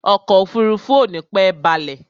Ọkọ̀ òfurufú ò nípẹ́ balẹ̀.